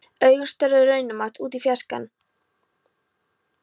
Augun störðu raunamædd út í fjarskann.